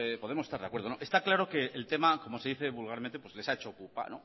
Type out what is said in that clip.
podemos estar de acuerdo no está claro que el tema como se dice vulgarmente les ha hecho pupa